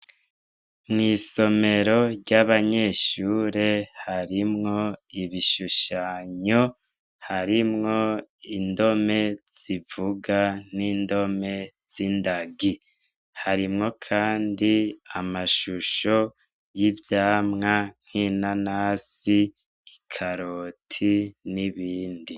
Mw'isomero ry'abanyeshure harimwo ibishushanyi, harimwo indome, harimwo indome zivuga n'indome zindagi, harimwo kandi amashisho y'ivyamwa nk'inanasi, nk'ikaroti n'ibindi.